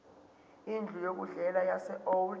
indlu yokudlela yaseold